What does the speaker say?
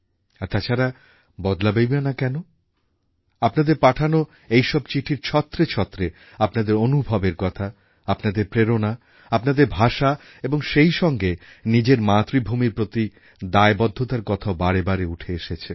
তাছাড়া বদলাবে নাই বা কেন আপনাদের পাঠানো এই সব চিঠির ছত্রে ছত্রে আপনাদের অনুভবের কথা আপনাদের প্রেরণা আপনজনের ভাষা এবং সেই সঙ্গে নিজের মাতৃভূমির প্রতি দায়বদ্ধতার কথাও বারে বারে উঠে এসেছে